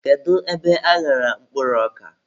Kedu ebe aghara mkpụrụ ọka?